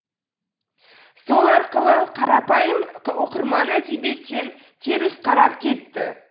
сол арқылы қарапайым оқырман әдебиеттен теріс қарап кетті